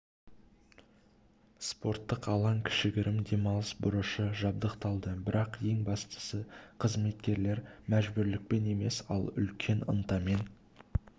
спорттық алаң кішігірім демалыс бұрышы жабдықталды бірақ ең бастысы қызметкерлер мәжбүрлікпен емес ал үлкен ынтамен